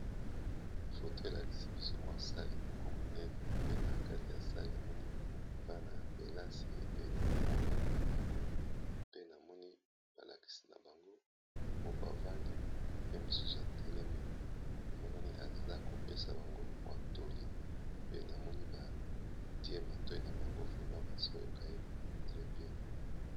foto elakisi biso mwa sale moko monene. Pe na kati ya sale namoni bana ya kelasi ebele bavandi na bango. Pe namoni balakisi na bango moko bavandi pe mosusu atelemi emononi aza kopesa bango watoli pe namoni batie matoi na bango bazoyoka ye pe.